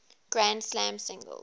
grand slam singles